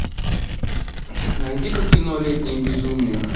найди ка кино летнее безумие